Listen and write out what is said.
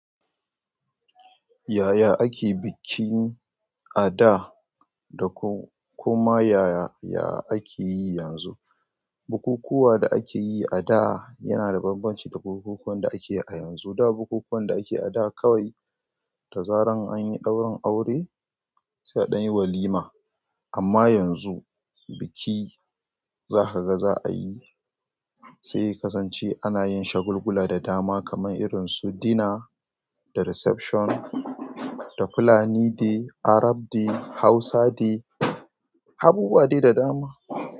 Yaya ake bikin a da dakuma yaya akeyi yanzu? Bukukkuwa da akeyi ada yanada bambanci da bukukuwan da akeyi a yanzu. Da bukukuwan da ake ada kawai da zaran anyi ɗaurin aure sai a danyi walima. Amma yanzu biki za ka ga za a yi sai yakasance anayin shagulgula da dama kamar irinsu dinner da reception. Da fulani day, Arab day, Hausa day, abubuwa dai da dama.